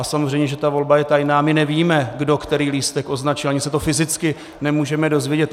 A samozřejmě že ta volba je tajná, my nevíme, kdo který lístek označí, ani se to fyzicky nemůžeme dozvědět.